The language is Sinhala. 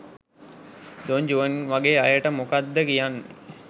දොන් ජුවන් වගේ අයට මොකක්ද කියන්නේ?